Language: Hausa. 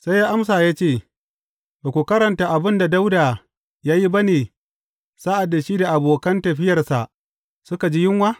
Sai ya amsa ya ce, Ba ku karanta abin da Dawuda ya yi ba ne sa’ad da shi da abokan tafiyarsa suka ji yunwa?